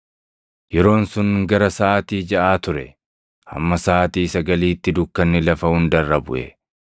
Yeroon sun gara saʼaatii jaʼaa ture; hamma saʼaatii sagaliitti dukkanni lafa hunda irra buʼe;